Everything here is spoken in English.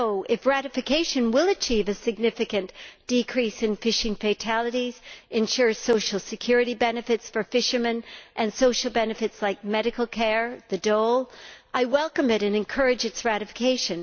Therefore, if ratification will achieve a significant decrease in fishing fatalities, ensure social security benefits for fishermen and social benefits, like medical care and the dole, then I welcome it and encourage its ratification.